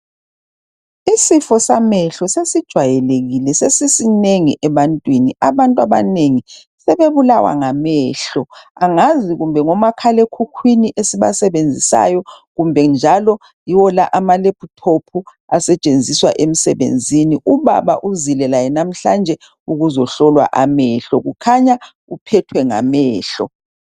Isifo samehlo sesijwayelekile sesisinengi ebantwini abantu abanengi sebebulawa ngamehlo angazi kumbe ngomakhalekhukhwini esibasebenzisayo kumbe njalo yiwo lamalephuthophu asetshenziswa emsebenzini ubaba uzile laye namhlanje ukuzohlolwa amehlo kukhanya uphethwe ngamehlo.